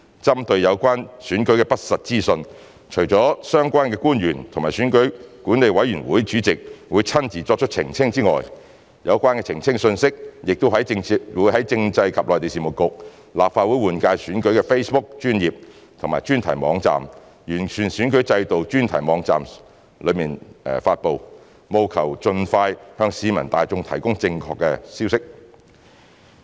針對有關選舉的不實資訊，除了相關官員及選舉管理委員會主席會親自作出澄清之外，有關澄清的信息亦會在政制及內地事務局、立法會換屆選舉的 Facebook 專頁及專題網站、完善選舉制度專題網站上發布，務求盡快向市民大眾提供正確消息。